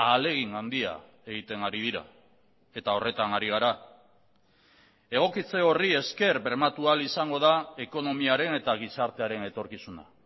ahalegin handia egiten ari dira eta horretan ari gara egokitze horri esker bermatu ahal izango da ekonomiaren eta gizartearen etorkizuna